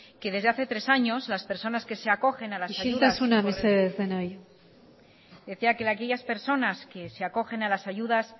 que desde hace tres años las personas que se acogen a las isiltasuna mesedez decía que aquellas personas que se acogen a las ayudas